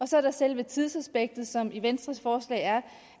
så er der selve tidsaspektet som i venstres forslag er